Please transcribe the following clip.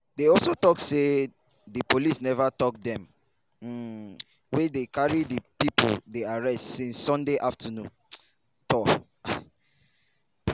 dey also tok say di police neva tok dem um wia dey carry di pipo dey arrest to since sunday afternoon. um